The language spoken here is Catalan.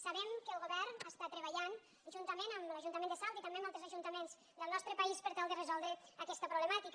sabem que el govern està treballant juntament amb l’ajuntament de salt i també amb altres ajuntaments del nostre país per tal de resoldre aquesta problemàtica